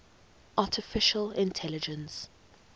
artificial intelligence